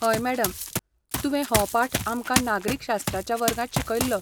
हय मॅडम, तुवें हो पाठ आमकां नागरिकशास्त्राच्या वर्गांत शिकयल्लो.